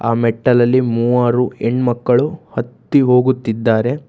ಅ ಮೆಟ್ಟಲಲ್ಲಿ ಮೂವರು ಹೆಣ್ಣಮಕ್ಕಳು ಹತ್ತಿ ಹೋಗುತ್ತಿದ್ದಾರೆ.